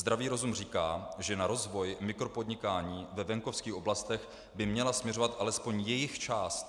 Zdravý rozum říká, že na rozvoj mikropodnikání ve venkovských oblastech by měla směřovat alespoň jejich část.